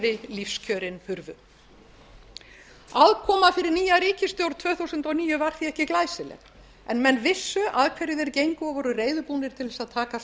nýja ríkisstjórn tvö þúsund og níu var því ekki glæsileg en menn vissu að hverju þeir gengu og voru reiðubúnir til þess að takast